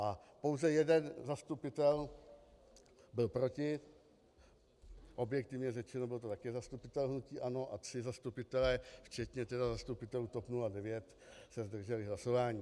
A pouze jeden zastupitel byl proti, objektivně řečeno, byl to také zastupitel hnutí ANO, a tři zastupitelé, včetně tedy zastupitelů TOP 09, se zdrželi hlasování.